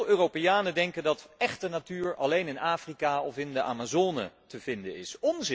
Veel Europeanen denken dat échte natuur alleen in Afrika of in de Amazone te vinden is.